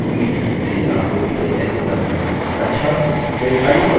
यह काफी उपयोगी है यदि आपको इसे एको करना है